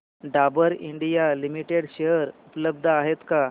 Dabur India limited share उपलब्ध आहेत का